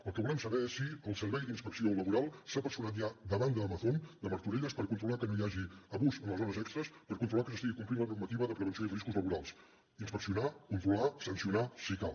el que volem saber és si el servei d’inspecció laboral s’ha personat ja davant d’amazon de martorelles per controlar que no hi hagi abús en les hores extres per controlar que s’estigui complint la normativa de prevenció i riscos laborals i per inspeccionar controlar i sancionar si cal